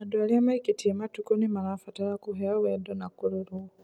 andũ aria maikitie matukũ nimarabatara kuheo wendo na kurorwo